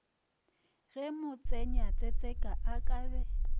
ge motsenyasetseka a ka be